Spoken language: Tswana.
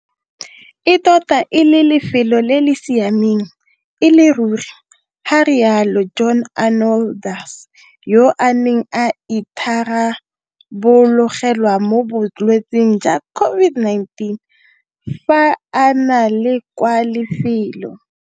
E tota e le lefelo le le siameng e le ruri, ga rialo John Arnoldus, yo a neng a itharabologelwa mo bolwetseng jwa COVID-19 fa a ne a le kwa lefelo.